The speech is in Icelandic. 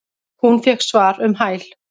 Hún fékk svar um hæl.